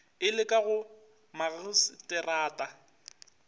e le ka go magaseterata